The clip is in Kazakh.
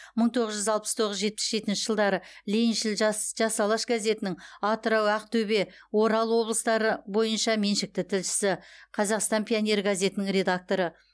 мың тоғыз жүз алпыс тоғыз жетпіс жетінші жылдары лениншіл жас жас алаш газетінің атырау ақтөбе орал облыстары бойынша меншікті тілшісі қазақстан пионері газетінің редакторы